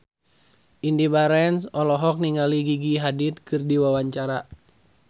Indy Barens olohok ningali Gigi Hadid keur diwawancara